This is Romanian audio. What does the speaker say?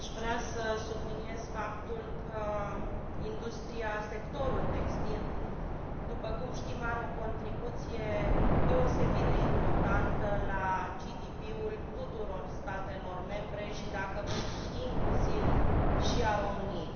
Aș vrea să subliniez faptul că sectorul textil, după cum știm, are o contribuție deosebit de importantă la GDP ul tuturor statelor membre și, dacă vreți, inclusiv al României.